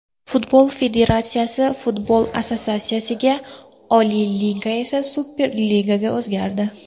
Futbol federatsiyasi, futbol assotsiatsiyasiga, Oliy Liga esa Superligaga o‘zgardi.